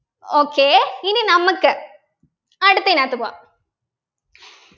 okay ഇനി നമ്മക്ക് അടുത്തയിനാത്ത് പോവാം